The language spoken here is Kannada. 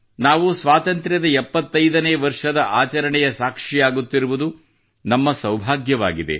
ನಾವು ಸ್ವಾತಂತ್ರ್ಯದ 75 ನೇ ವರ್ಷದ ಆಚರಣೆಯ ಸಾಕ್ಷಿಯಾಗುತ್ತಿರುವುದು ನಮ್ಮ ಸೌಭಾಗ್ಯವಾಗಿದೆ